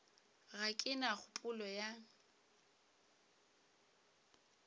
ga ke na kgopolo ya